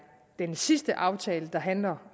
den sidste aftale der handler